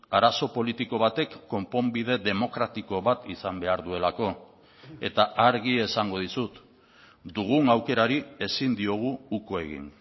arazo politiko batek konponbide demokratiko bat izan behar duelako eta argi esango dizut dugun aukerari ezin diogu uko egin